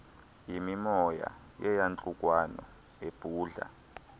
yimimoya yeyantlukwano ebhudla